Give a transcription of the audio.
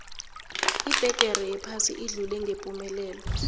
ibhegere yephasi idlule ngepumelelo